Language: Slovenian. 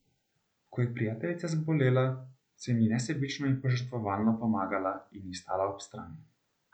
Ko je prijateljica zbolela, sem ji nesebično in požrtvovalno pomagala in ji stala ob strani.